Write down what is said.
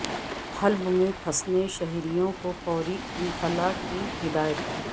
حلب میں پھنسے شہریوں کو فوری انخلا کی ہدایت